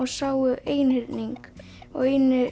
sáu einhyrning og